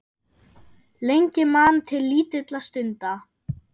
Lengi man til lítilla stunda